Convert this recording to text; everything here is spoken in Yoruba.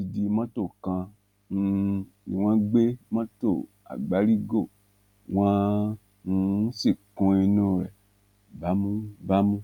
odidi mọtò kan um ni wọn gbé mọtò àgbárígò wọn um sì kún inú rẹ bámúbámú